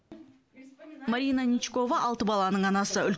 марина ничкова алты баланың анасы